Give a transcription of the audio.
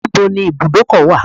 Where is the garage?